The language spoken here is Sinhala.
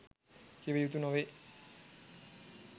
කිව යුතු නොවේ